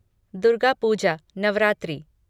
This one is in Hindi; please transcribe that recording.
दुर्गा पूजा नवरात्रि